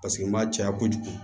Paseke n b'a caya kojugu